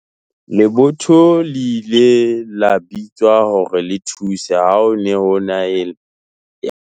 lebotho le ile la bitswa hore le thuse ha ho ne ho e na le merusu.